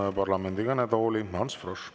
Palun parlamendi kõnetooli Ants Froschi.